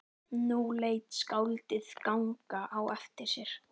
Nú lét skáldið ganga á eftir sér.